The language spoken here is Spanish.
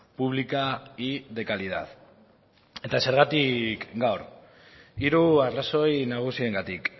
pública y de calidad eta zergatik gaur hiru arrazoi nagusiengatik